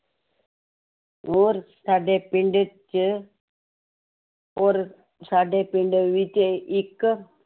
ਔਰ ਸਾਡੇ ਪਿੰਡ ਚ ਔਰ ਸਾਡੇ ਪਿੰਡ ਵਿੱਚ ਇੱਕ